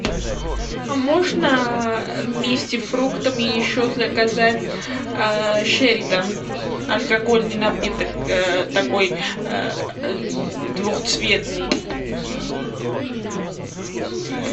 а можно вместе с фруктами еще заказать шеридан алкогольный напиток такой двухцветный